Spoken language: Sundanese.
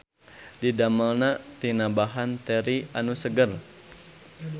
Didamelna tina bahan teri anu seger.